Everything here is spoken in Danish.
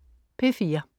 P4: